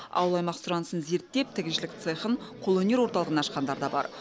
ауыл аймақ сұранысын зерттеп тігіншілік цехын қолөнер орталығын ашқандар да бар